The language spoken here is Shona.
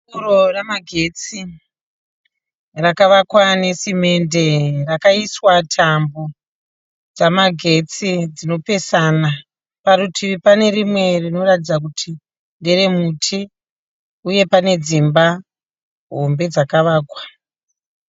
Pouro remakagetsi rakavakwa nesimende. Rakaiswa tambo dzemagetsi dzinopesana. Parutivi pane rime rinoratidza kuti ndere muti uye pane dzimba hombe dzakavakwa.